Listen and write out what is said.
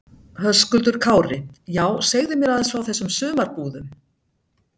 Höskuldur Kári: Já, segðu mér aðeins frá þessum sumarbúðum?